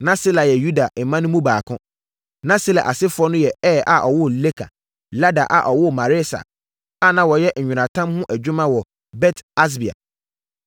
Na Sela yɛ Yuda mma no mu baako. Na Sela asefoɔ no ne Er a ɔwoo Leka, Lada a ɔwoo Maresa a na wɔyɛ nweratam ho adwuma wɔ Bet-Asbea,